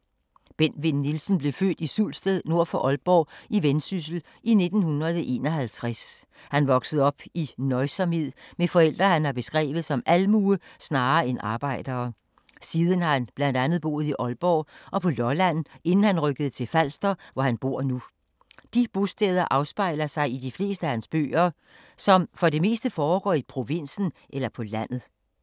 Bent Vinn Nielsen blev født i Sulsted nord for Aalborg i Vendsyssel i 1951. Han voksede op i nøjsomhed med forældre han har beskrevet som almue, snarere end arbejdere. Siden har han blandt andet boet i Aalborg og på Lolland inden han rykkede til Falster, hvor han bor nu. De bosteder afspejler sig i de fleste af hans bøger, som for det meste foregår i provinsen eller på landet.